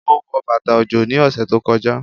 Ó wọ bàtà ọjọ́ ní ọ̀sẹ̀ tó kọjá